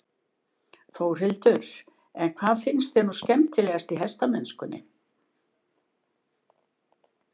Þórhildur: En hvað finnst þér nú skemmtilegast í hestamennskunni?